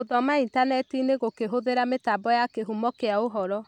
Gũthoma intaneti-inĩ gũkĩhũthĩra mĩtambo ya kĩhumo kĩa ũhoro.